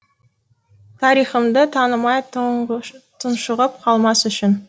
тарихымды танымай тұншығып қалмас үшін